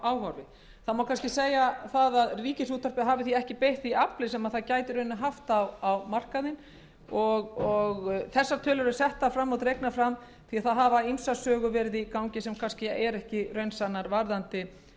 áhorfi það má því segja að rúv hafi ekki beitt því afli sem það gæti haft á markaðnum þessar tölur eru dregnar fram því að ýmsar sögur hafa verið í gangi sem eru ekki raunsannar varðandi